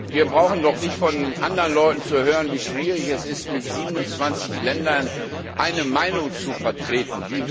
Wir brauchen doch nicht von anderen Leuten zu hören, wie schwierig es ist, mit 27 Ländern eine Meinung zu vertreten.